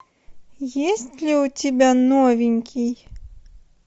есть ли у тебя новенький